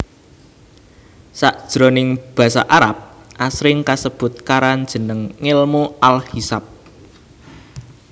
Sakjroning basa Arab asring kasebut karan jeneng ngèlmu al Hisab